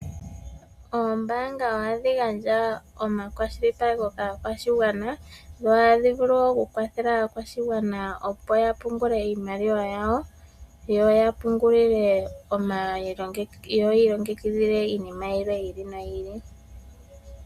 Oombanga ohadhi gandja omakwashilipaleko kaakwashigwana, dho ohadhi vulu wo oku kwathela aakwashigwana opo ya pungule iimaliwa yawo, yo yiilongekidhile iinima yilwe yiili no yiili.